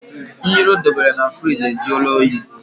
Mmiri ọ debere na firigi ajụọla oyi